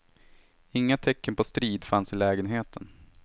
Inga tecken på strid fanns i lägenheten.